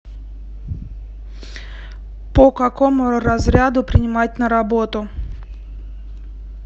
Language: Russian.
по какому разряду принимать на работу